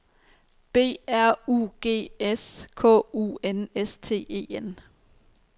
B R U G S K U N S T E N